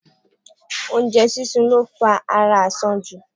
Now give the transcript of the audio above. Oú́njẹ sísun lo fa ara àsanjù.